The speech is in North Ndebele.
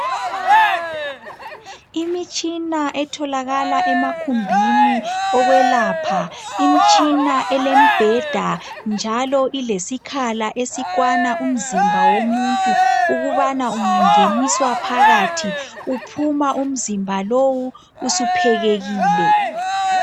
Imitshina etholakala emagumbini okwelapha imitshina elembheda njalo ilesikhala esikwana umzimba womuntu ukubana ungangeniswa phakathi uphuma umzimba lowu usiphekekile.